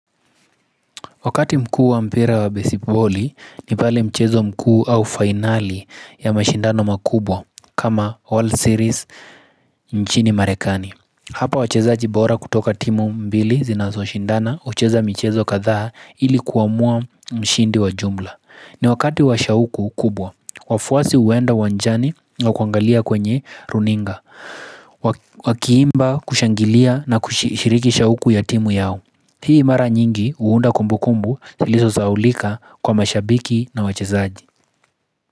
Wakati mkuu wa mpira wa besiboli ni pale mchezo mkuu au fainali ya mashindano makubwa kama All Series nchini marekani Hapa wachezajibora kutoka timu mbili zinazo shindana hucheza michezo kadhaa ili kuwamua mshindi wa jumla ni wakati wa shauku kubwa, wafuasi uenda wanjani au kuangalia kwenye runinga wakiimba kushangilia na kushiriki shauku ya timu yao Hii mara nyingi huunda kumbu kumbu iliso zaulika kwa mashabiki na wachezaji.